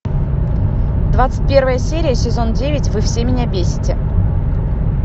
двадцать первая серия сезон девять вы все меня бесите